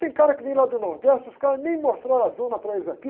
Tem cara que vem lá do Nordeste, os caras nem mostraram a zona para eles aqui.